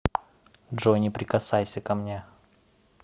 джой не прикасайся ко мне